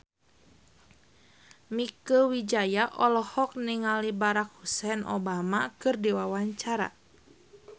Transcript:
Mieke Wijaya olohok ningali Barack Hussein Obama keur diwawancara